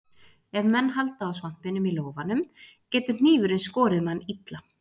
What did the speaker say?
Ef menn halda á svampinum í lófanum getur hnífurinn skorið mann illa.